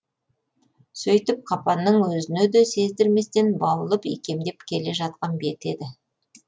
сөйтіп қапанның өзіне де сездірместен баулып икемдеп келе жатқан беті еді